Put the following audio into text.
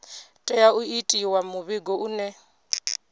tea u itiwa muvhigo une